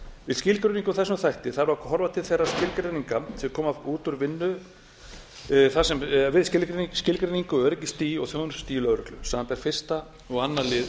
við skilgreiningu á þessum þætti þarf að horfa til þeirra skilgreininga sem koma út úr vinnu við skilgreiningu á öryggisstigi og þjónustustigi lögreglu samanber fyrstu og önnur lið